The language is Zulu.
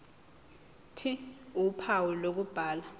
ph uphawu lokubhala